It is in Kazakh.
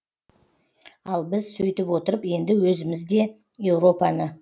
ал біз сөйтіп отырып енді өзімімізде еуропаны